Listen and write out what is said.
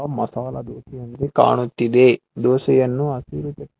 ಮಸಾಲಾ ದೋಸೆ ಅಂಗೆ ಕಾಣುತ್ತಿದೆ ದೋಸೆಯನ್ನು--